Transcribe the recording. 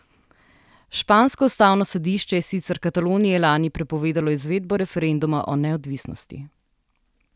Špansko ustavno sodišče je sicer Kataloniji lani prepovedalo izvedbo referenduma o neodvisnosti.